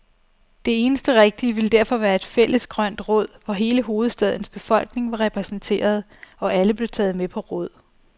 Det eneste rigtige ville derfor være et fælles grønt råd, hvor hele hovedstadens befolkning var repræsenteret, og alle blev taget med på råd.